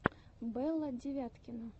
белла девяткина